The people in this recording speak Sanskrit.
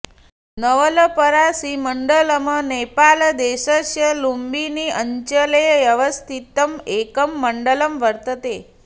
नवलपरासीमण्डलम् नेपालदेशस्य लुम्बिनी अञ्चले अवस्थितं एकं मण्डलं वर्तते